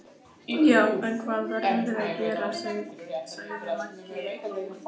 Já, en eitthvað verðum við að gera, sagði Maggi Lóu.